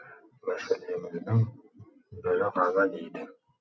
мәселеміздің бірі ғана дейді